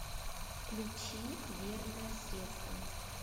включи верное средство